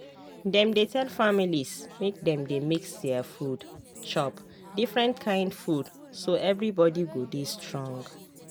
dem dey tell families make dem dey mix their food—chop different kain food so everybody go dey strong.